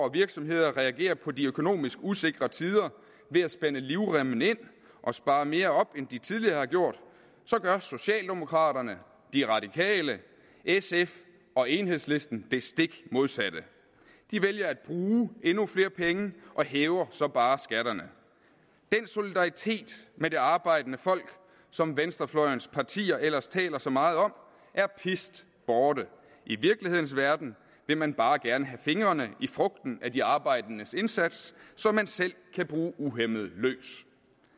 og virksomheder reagerer på de økonomisk usikre tider ved at spænde livremmen ind og spare mere op end de tidligere har gjort så gør socialdemokraterne de radikale sf og enhedslisten det stik modsatte de vælger at bruge endnu flere penge og hæver så bare skatterne den solidaritet med det arbejdende folk som venstrefløjens partier ellers taler så meget om er pist borte i virkelighedens verden vil man bare gerne have fingrene i frugten af de arbejdendes indsats så man selv kan bruge uhæmmet løs